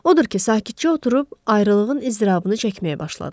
Odur ki, sakitcə oturub ayrılığın izdırabını çəkməyə başladılar.